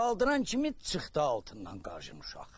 Qaldıran kimi çıxdı altından qajım uşaq.